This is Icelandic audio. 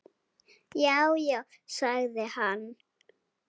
Já, já sagði hann.